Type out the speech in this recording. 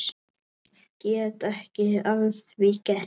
Get ekki að því gert.